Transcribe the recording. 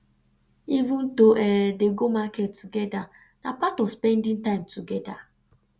even to dey go to market togeda na part of spending time together